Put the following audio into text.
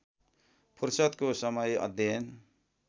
फुर्सदको समय अध्ययन